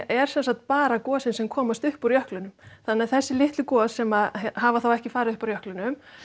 er sem sagt bara gosin sem komast upp úr jöklinum þannig að þessi litlu gos sem hafa þá ekki farið upp úr jöklinum